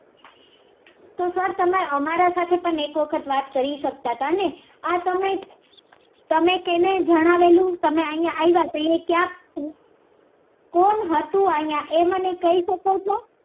અમારા સાથે પણ એક વખત વાત કરી શકતા હતા ને તમે અહી આવ્યા ત્યારે કોણ હતું અહી એ મને કંઈ શકો છો